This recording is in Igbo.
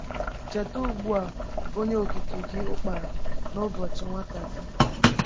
“Cheta ugbu a Onye Okike gị Ukpara n’ụbọchị nwata gị.”